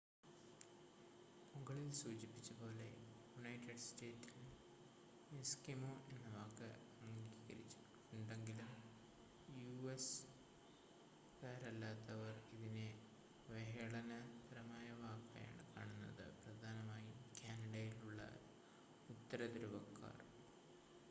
മുകളിൽ സൂചിപ്പിച്ചപോലെ യുണൈറ്റഡ് സ്റ്റേറ്റ്സിൽ ‘എസ്കിമോ’ എന്ന വാക്ക് അംഗീകരിച്ചിട്ടുണ്ടെങ്കിലും യു.എസ്സ് കാരല്ലാത്തവർ ഇതിനെ അവഹേളനപരമായ വാക്കായാണ് കാണുന്നത്. പ്രധാനമായും കാനഡയിലുള്ള ഉത്തരധ്രുവക്കാർ